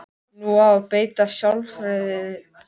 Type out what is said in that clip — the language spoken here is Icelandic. Nú á að beita sálfræðinni á dótturina.